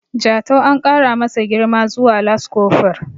Jatau an kara masa girma zuwa laskofur